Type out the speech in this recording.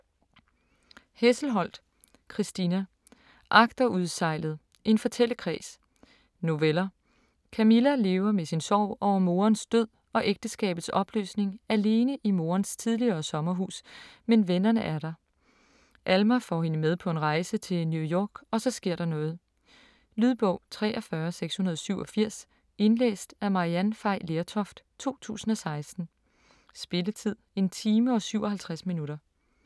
Hesselholdt, Christina: Agterudsejlet: en fortællekreds Noveller. Camilla lever med sin sorg over moderens død og ægteskabets opløsning alene i moderens tidligere sommerhus, men vennerne er der. Alma får hende med på en rejse til New York, og så sker der noget. Lydbog 43687 Indlæst af Maryann Fay Lertoft, 2016. Spilletid: 1 time, 57 minutter.